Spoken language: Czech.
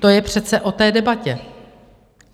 To je přece o té debatě.